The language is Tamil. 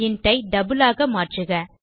இன்ட் ஐ டபிள் ஆக மாற்றுக